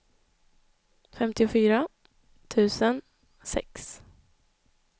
femtiofyra tusen sex